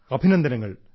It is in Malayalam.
അഭിനന്ദനങ്ങൾ